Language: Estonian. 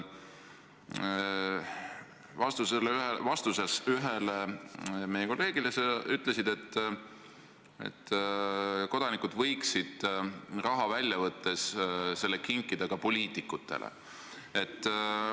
Vastates ühele meie kolleegile sa ütlesid, et kodanikud võiksid raha välja võttes selle kinkida ka poliitikutele.